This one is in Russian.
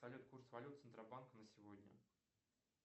салют курс валют центробанка на сегодня